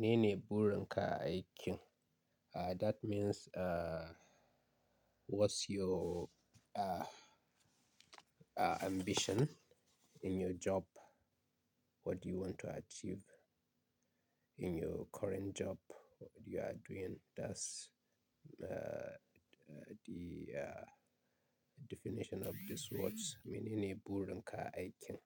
Mene ne burin ka a aikin? Ah, that means, ah, what's your, ah, ah, ambition in your job? What do you want to achieve in your current job? What you are doing? That's, ah, ah, the, ah, definition of these words. Mene ne burin ka a aikin?